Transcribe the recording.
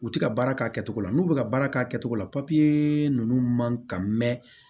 U ti ka baara k'a kɛcogo la n'u be ka baara k'a kɛcogo la papiye nunnu man kan mɛ